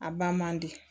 A ba man di